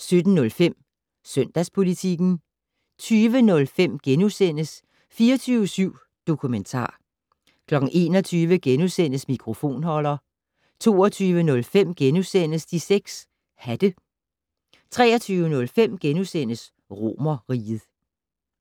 17:05: Søndagspolitikken 20:05: 24syv Dokumentar * 21:05: Mikrofonholder * 22:05: De 6 Hatte * 23:05: Romerriget *